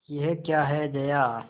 यह क्या है जया